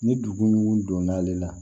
Ni dugu donna ale la